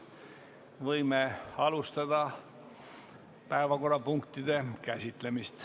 Võime alustada päevakorrapunktide käsitlemist.